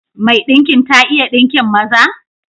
Mai ɗinkin ta iya ɗinkin maza?